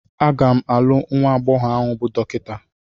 A ga m alụ nwa agbọghọ ahụ bụ Dọkịta.